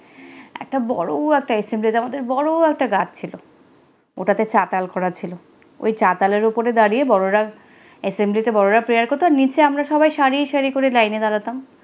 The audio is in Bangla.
একটা বড়ো একটা assembly র আমাদের বড়ো একটা গাছ ছিল। ওটাতে চাতাল করা ছিলো। ওই চাতালের উপরে দাঁড়িয়ে বড়রা assembly তে বড়রা prayer করতো আর নিচে আমরা সারি সারি করে line এ দাঁড়াতাম।